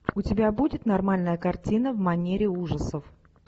у тебя будет нормальная картина в манере ужасов